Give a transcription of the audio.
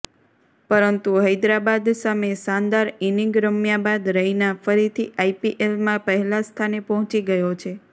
પરંતુ હૈદરાબાદ સામે શાનદાર ઈનિંગ રમ્યા બાદ રૈના ફરીથી આઈપીએલમાં પહેલા સ્થાને પહોંચી ગયો છે